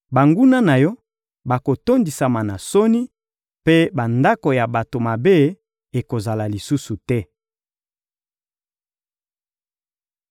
Banguna na yo bakotondisama na soni, mpe bandako ya bato mabe ekozala lisusu te.»